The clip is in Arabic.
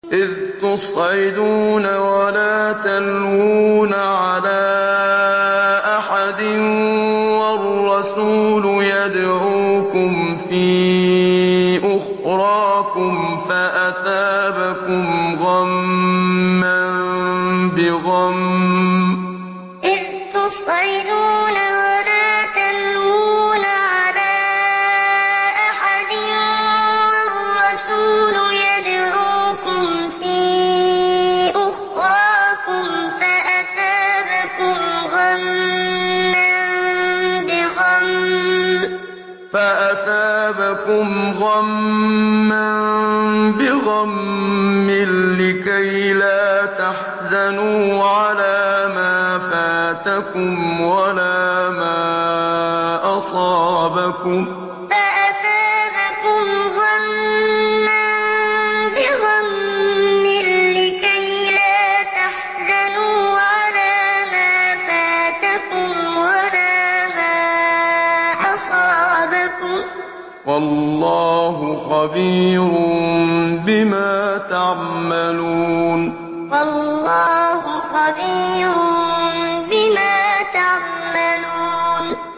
۞ إِذْ تُصْعِدُونَ وَلَا تَلْوُونَ عَلَىٰ أَحَدٍ وَالرَّسُولُ يَدْعُوكُمْ فِي أُخْرَاكُمْ فَأَثَابَكُمْ غَمًّا بِغَمٍّ لِّكَيْلَا تَحْزَنُوا عَلَىٰ مَا فَاتَكُمْ وَلَا مَا أَصَابَكُمْ ۗ وَاللَّهُ خَبِيرٌ بِمَا تَعْمَلُونَ ۞ إِذْ تُصْعِدُونَ وَلَا تَلْوُونَ عَلَىٰ أَحَدٍ وَالرَّسُولُ يَدْعُوكُمْ فِي أُخْرَاكُمْ فَأَثَابَكُمْ غَمًّا بِغَمٍّ لِّكَيْلَا تَحْزَنُوا عَلَىٰ مَا فَاتَكُمْ وَلَا مَا أَصَابَكُمْ ۗ وَاللَّهُ خَبِيرٌ بِمَا تَعْمَلُونَ